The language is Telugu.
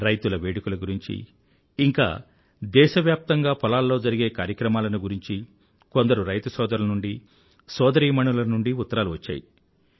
రైతుల వేడుకల గురించీ ఇంకా దేశవ్యాప్తంగా పొలాల్లో జరిగే కార్యక్రమాలను గురించి కొందరు రైతు సోదరుల నుండి సోదరీమణుల నుండీ ఉత్తరాలు వచ్చాయి